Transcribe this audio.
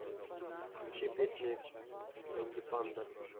включи песни энди панда